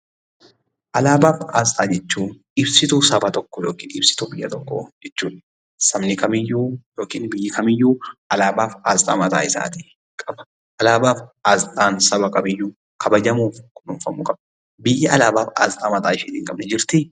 Alaabaa fi asxaa jechuun ibsituu saba tokkoo (ibsituu biyya tokkoo) jechuu dha. Sabni kamiyyuu (biyyi kamiyyuu) alaabaa fi asxaa mataa isaatii qaba. Alaabaa fi asxaan saba kamiiyyuu kabajamuu fi kunuunfamuu qaba. Biyyi alaabaa fi asxaa mataa isheetii hin qabne jirtii?